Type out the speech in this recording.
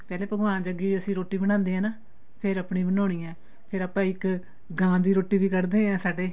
ਪਹਿਲੇ ਭਗਵਾਨ ਦੇ ਅੱਗੇ ਅਸੀਂ ਰੋਟੀ ਬਣਾਂਦੇ ਆ ਫੇਰ ਆਪਣੀ ਬਣਾਉਣੀ ਏ ਫੇਰ ਆਪਾਂ ਇੱਕ ਗਾਂ ਦੀ ਰੋਟੀ ਵੀ ਕੱਡਦੇ ਏ ਸਾਡੇ